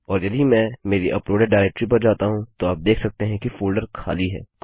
और यदि मैं मेरी अपलोडेड डाइरेक्टरी पर जाता हूँ तो आप देख सकते हैं कि फोल्डर खाली है